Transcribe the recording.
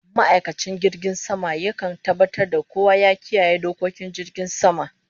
Ma'aikacin jirgin sama ya kan tabatar da kowa ya kiyaye dokokin jirgin sama